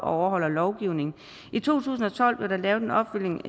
overholder lovgivningen i to tusind og tolv blev der lavet en opfølgning